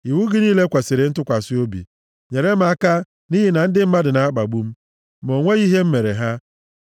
Iwu gị niile kwesiri ntụkwasị obi; nyere m aka, nʼihi na ndị mmadụ na-akpagbu m ma o nweghị ihe m mere ha.